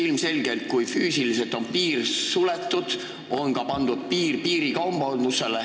Ilmselgelt on siis, kui piir on füüsiliselt suletud, ka piirikaubandusele piir pandud.